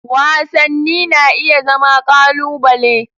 Wasanni na iya zama ƙalubale.